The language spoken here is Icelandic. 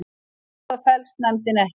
Á það féllst nefndin ekki